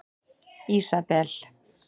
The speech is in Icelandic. Ísabel